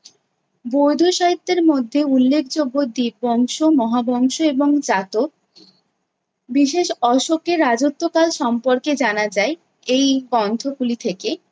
বৈধ সাহিত্যের মধ্যে উল্লেখযোগ্য দীপবংশ, মহাবংশ এবং যাতক, বিশেষ অশোকের রাজত্বকাল সম্পর্কে জানা যায়। এই গন্থগুলি থেকে